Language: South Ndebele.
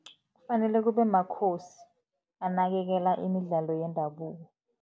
Kufanele kube makhosi anakekela imidlalo yendabuko.